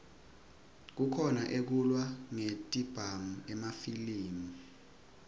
kukhona ekulwa ngetibhamu emafilimi